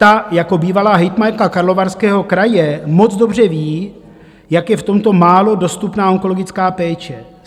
Ta jako bývalá hejtmanka Karlovarského kraje moc dobře ví, jak je v tomto málo dostupná onkologická péče.